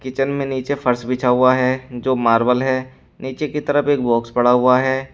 Kitchen में नीचे फर्श बिछा हुआ है जो मार्बल है नीचे की तरफ एक बॉक्स पड़ा हुआ है।